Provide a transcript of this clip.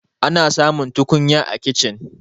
ana samun tukunya a kicin